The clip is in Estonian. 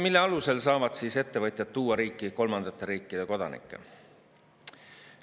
Selle alusel saavad ettevõtjad tuua riiki kolmandate riikide kodanikke.